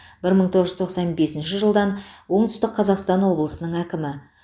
бір мың тоғыз жүз тоқсан бесінші жылдан оңтүстік қазақстан облысының әкімі